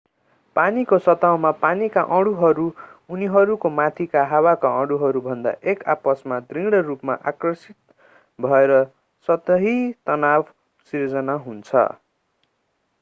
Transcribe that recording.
पानीको सतहमा पानीका अणुहरू उनीहरूको माथिका हावाका अणुहरूभन्दा एक आपसमा दृढ रूपमा आकर्षित भएर सतही तनाव सृजना हुन्छ